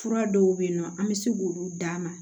Fura dɔw bɛ yen nɔ an bɛ se k'olu d'a ma